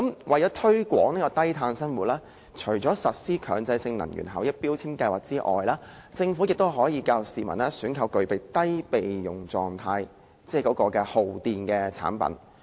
為了推廣低碳生活，除了實施強制性標籤計劃外，政府亦可以教育市民選購具有備用狀態的低耗電產品。